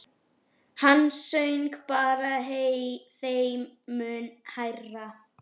Hann söng bara þeim mun hærra.